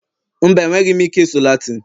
mba, enweghị m ike ịsụ Latin